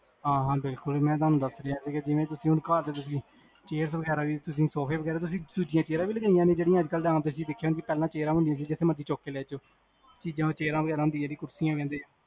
ਹਾਂ ਹਾਂ ਬਿਲਕੁਲ, ਮੈਂ ਤੁਹਾਨੂੰ ਦਸ ਰਿਹਾ ਹਾਂ ਕੀ ਜਿਵੇਂ ਤੁਸੀਂ ਹੁਣ ਘਰ ਵਿਚ chairs ਤੁਸੀਂ ਸੋਫੇ ਵਗੈਰਾ ਤੁਸੀਂ ਦੂਜੀ chairs ਵੀ ਲਗਵਾਇਆ ਜਿਹੜੀ ਤੁਸੀਂ ਆਮ ਦੇਖਿਆ ਹੋਣੀ ਜਿੰਦਾ ਪਹਿਲਾ ਹੁੰਦੀਆਂ ਸੀਗੀ ਜਿਥੇ ਮਰਜੀ ਚੁੱਕ ਕੇ ਲੈ ਜੋ chairs ਹੈਗੇ ਜਿਨੂੰ ਕੁਰਸੀ ਕਹਿੰਦੇ ਉਹ ਹੈਗੀਆਂ ਤੁਹਾਡੇ ਕੋਲ ਜਾ ਤੁਸੀਂ ਉਹ ਵੀ ਮੰਗਵਾਨੀਆਂ ਹੇਗੀ